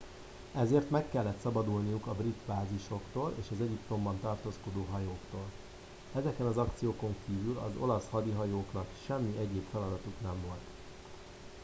ezért meg kellett szabadulniuk a brit bázisoktól és az egyiptomban tartózkodó hajóktól ezeken az akciókon kívül az olasz hadihajóknak semmi egyéb feladatuk nem volt